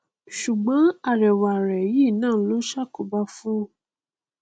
sùgbọn ẹwà rẹ yìí náà ló ṣàkóbá fún un o